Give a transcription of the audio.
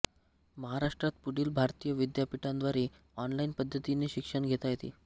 महाराष्ट्रात पुढील भारतीय विद्यापीठांद्वारे ऑनलाइन पद्धतीने शिक्षण घेता येते